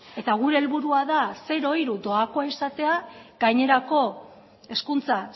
eta gure helburua da zero hiru doakoa izatea gainerako hezkuntza